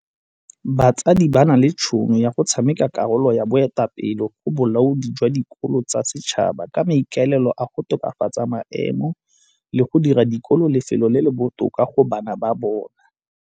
Batsadi ba na le tšhono ya go tshameka karolo ya boetapele go bolaodi jwa dikolo tsa setšhaba ka maikaelelo a go tokafatsa maemo le go dira sekolo lefelo le le botoka go bana ba bona.